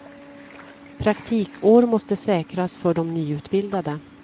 Praktikår måste säkras för de nyutbildade.